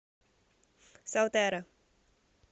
солтера